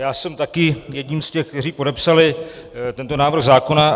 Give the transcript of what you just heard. Já jsem taky jedním z těch, kteří podepsali tento návrh zákona.